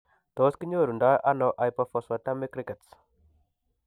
Tos kinyoru ndo ano hypophosphatemic rickets ?